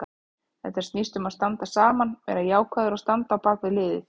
Þetta snýst um að standa saman, vera jákvæður og standa á bakvið liðið.